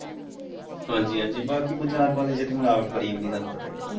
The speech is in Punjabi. ਹਾਂਜ਼ੀ ਹਾਂਜ਼ੀ ਬਾਕੀ ਬਾਜਾਰ ਵਾਲੇ ਚ ਤੇ ਮਿਲਾਵਟ ਬੜੀ ਆਉਂਦੀ ਤੁਹਾਨੂੰ ਪਤਾ ਹੀ ਹੈ।